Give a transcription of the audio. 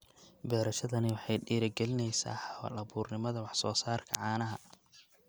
Beerashadani waxay dhiirigelinaysaa hal-abuurnimada wax-soo-saarka caanaha.